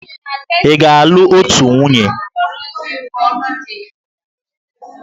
Ị ga-alụ otu nwunye!